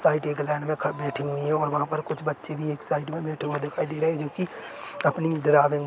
side एक line में बैठी हुई है और वहा पर कुछ बच्चे भी एक साइड में बैठे हुए हैं जो कि अपनी ड्राइंग --